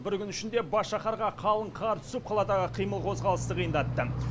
бір күн ішінде бас шаһарға қалың қар түсіп қаладағы қимыл қозғалысты қиындатты